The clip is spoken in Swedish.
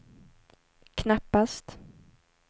knappast